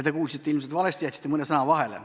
Te kuulsite ilmselt valesti, jätsite mõne sõna vahele.